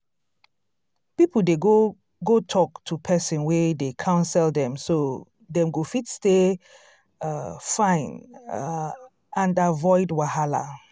people dey go go talk um to person wey dey counsel so dem go fit stay um fine um and avoid wahala